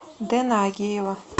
дэна агеева